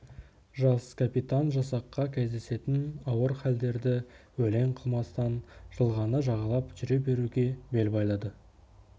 жас капитан жасаққа кездесетін ауыр халдерді елең қылмастан жылғаны жағалап жүре беруге бел байлады